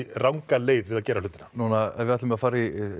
ranga leið við að gera hlutina nú ef við ætlum að fara